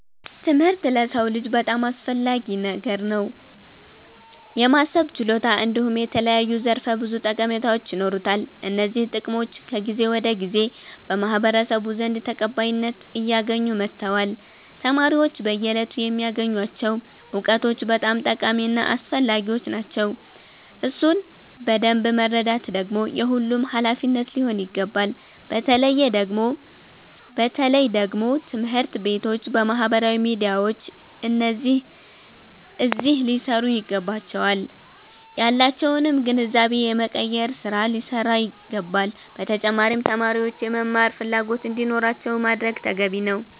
ትምህርት ለሰዉ ልጅ በጣም አስፈላጊ ነገር ነዉ። የማሰብ ችሎታ እንዲሁም የተለያዩ ዘርፈ ብዙ ጠቀሜታዎች ይኖሩታል። እነዚህ ጥቅሞች ከጊዜ ወደ ጊዜ በማህበረሰቡ ዘንድ ተቀባይነት አያገኙ መተዋል። ተማሪዎች በየእለቱ የሚያገኙቸዉ እዉቀቶች በጣም ጠቃሚ እና አስፈላጊዎች ናቸዉ። እሱን በደምብ መረዳት ደግሞ የሁሉም ሃላፊነት ሊሆን ይገባል። በተለየ ደግሞ ትምህርት ቤቶች ባህበራዊ ሚዲያዎች አዚህ ሊሰሩ ይገባቸዋል። ያላቸዉንም ግንዛቤ የመቀየር ስራ ሊሰራ ይገባዋል። በተጫማሪም ተማሪዎች የመማር ፈላጎት እንዲኖራቸዉ ማድረግ ተገቢ ነዉ።